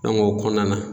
o kɔnɔna na